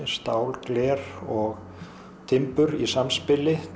stál gler og timbur í samspili